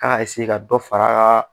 an k'a ka dɔ fara a kan